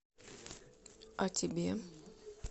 а тебе